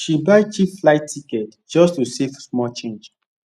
she buy cheap flight ticket just to save small change